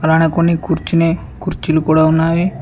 కొన్ని కూర్చొనే కుర్చీలు కూడా ఉన్నావి.